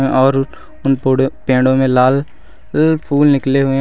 और उन पे पेड़ो में लाल फूल निकले हुए हैं।